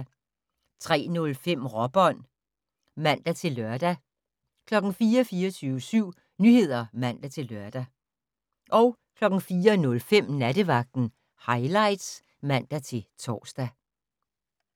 03:05: Råbånd (man-lør) 04:00: 24syv Nyheder (man-lør) 04:05: Nattevagten Highlights (man-tor)